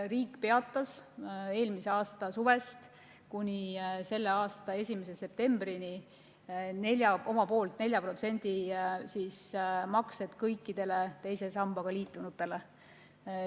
Riik peatas eelmise aasta suvest kuni selle aasta 1. septembrini oma poolt 4% maksed kõikidele teise sambaga liitunutele.